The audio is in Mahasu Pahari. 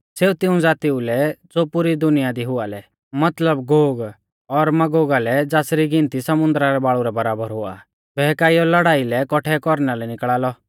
सेऊ तिऊं ज़ातीऊ लै ज़ो पुरी दुनिया दी हुआ लै मतलब गोग और मागोगा लै ज़ासरी गिनती समुन्दरा रै बाल़ु रै बराबर हुआ आ बहकाइयौ लड़ाई लै कौट्ठै कौरना लै निकल़ा लौ